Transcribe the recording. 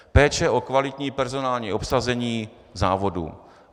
Péče o kvalitní personální obsazení závodu.